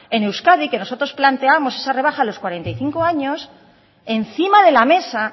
en euskadi que nosotros planteamos esa rebaja a los cuarenta y cinco años encima de la mesa